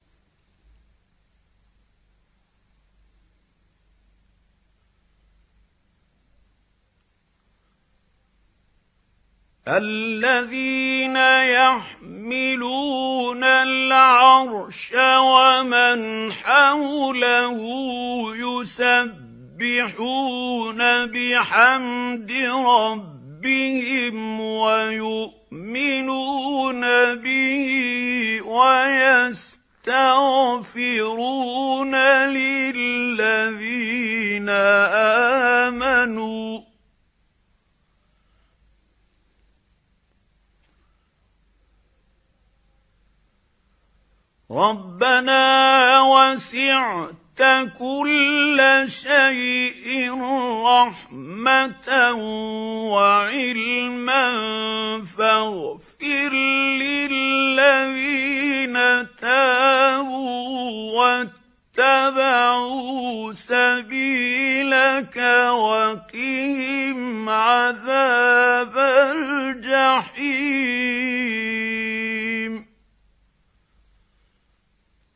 الَّذِينَ يَحْمِلُونَ الْعَرْشَ وَمَنْ حَوْلَهُ يُسَبِّحُونَ بِحَمْدِ رَبِّهِمْ وَيُؤْمِنُونَ بِهِ وَيَسْتَغْفِرُونَ لِلَّذِينَ آمَنُوا رَبَّنَا وَسِعْتَ كُلَّ شَيْءٍ رَّحْمَةً وَعِلْمًا فَاغْفِرْ لِلَّذِينَ تَابُوا وَاتَّبَعُوا سَبِيلَكَ وَقِهِمْ عَذَابَ الْجَحِيمِ